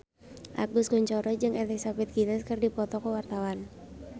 Agus Kuncoro jeung Elizabeth Gillies keur dipoto ku wartawan